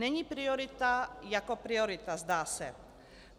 Není priorita jako priorita, zdá se.